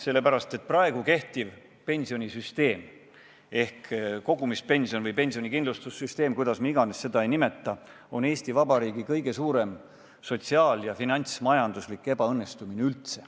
Sellepärast, et praegu kehtiv pensionisüsteem – kogumispensioni- või pensionikindlustussüsteem, kuidas iganes me seda ka ei nimeta – on Eesti Vabariigi kõige suurem sotsiaal- ja finantsmajanduslik ebaõnnestumine.